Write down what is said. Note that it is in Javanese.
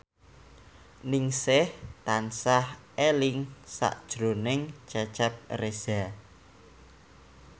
Ningsih tansah eling sakjroning Cecep Reza